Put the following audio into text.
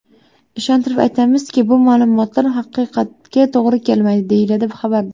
Ishontirib aytamizki, bu ma’lumotlar haqiqatga to‘g‘ri kelmaydi”, deyiladi xabarda.